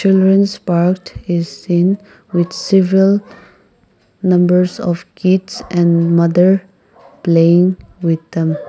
childrens parked is seen with several numbers of kids and mother playing with them.